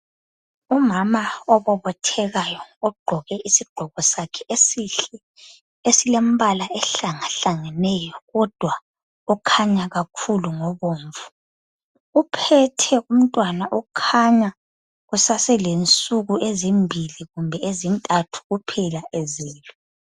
Umama obobotheka ogqoke isigqoko sakhe esihle esilompala ohlangahlangeneyo kodwa okhanya kakhulu ngobomvu. Uphethe umntwana okhanya usaselensuku ezimbili kumbe ezintathu kuphela ezelwe.